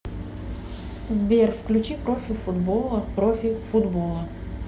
сбер включи профи футбола профи футбола